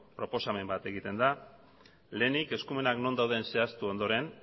proposamen bat egiten da lehenik eskumenak non dauden zehaztu ondoren